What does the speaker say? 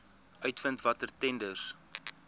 uitvind watter tenders